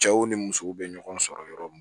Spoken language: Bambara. Cɛw ni musow bɛ ɲɔgɔn sɔrɔ yɔrɔ mun